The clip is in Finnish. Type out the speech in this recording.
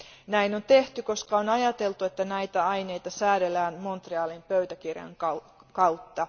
Näin on tehty, koska on ajateltu, että näitä aineita säädellään Montrealin pöytäkirjan kautta.